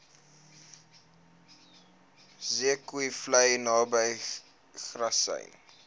zeekoevlei naby grassy